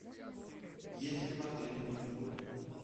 есть ли в отеле мини гольф